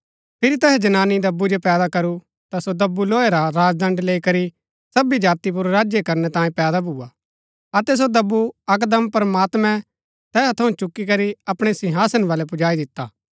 फिरी तैहै जनानी दब्बु जो पैदा करू ता सो दब्बु लोहे रा राजदण्ड लैई करी सबी जाति पुर राज्य करणै तांयें पैदा भूआ अतै सो दब्बु अकदम प्रमात्मैं तैहा थऊँ चुकी करी अपणै सिंहासन बलै पुजाई दिता